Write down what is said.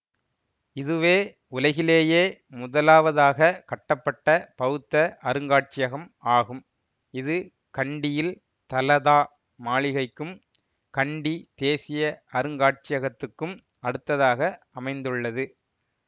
இதுவே உலகிலிலேயே முதலாவதாகக் கட்டப்பட்ட பௌத்த அருங்காட்சியகம் ஆகும் இது கண்டியில் தலதா மாளிகைக்கும் கண்டி தேசிய அருங்காட்சியகத்துக்கும் அடுத்ததாக அமைந்துள்ளது